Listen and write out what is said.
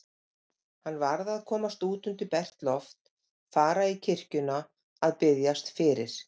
Hann varð að komast út undir bert loft, fara í kirkjuna að biðjast fyrir.